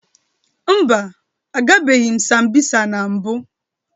Mba, agabeghị m Sambisa na mbụ